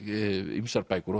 ýmsar bækur